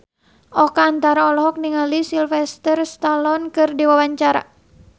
Oka Antara olohok ningali Sylvester Stallone keur diwawancara